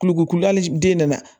Kulukorokulali den nana